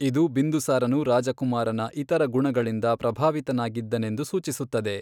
ಇದು ಬಿಂದುಸಾರನು ರಾಜಕುಮಾರನ ಇತರ ಗುಣಗಳಿಂದ ಪ್ರಭಾವಿತನಾಗಿದ್ದನೆಂದು ಸೂಚಿಸುತ್ತದೆ.